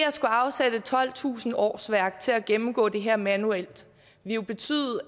at skulle afsætte tolvtusind årsværk til at gennemgå det her manuelt betyde